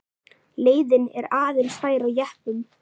Leiðin er aðeins fær jeppum.